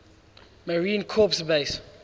marine corps base